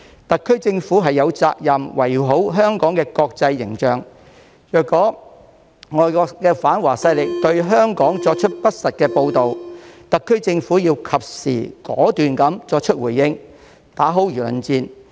特區政府有責任維護香港的國際形象，若外國反華勢力對香港作出不實的報道，特區政府要及時果斷地作出回應，打好輿論戰。